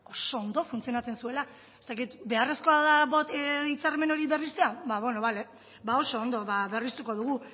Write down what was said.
oso ondo funtzionatzen zuela ez dakit beharrezkoa da hitzarmen hori berritzea bale oso ondo berriztuko dugu